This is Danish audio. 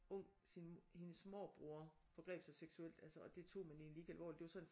Ung sin hendes morbror forgreb sig seksuelt altså og det tog man egentlig ikke alvorligt det var sådan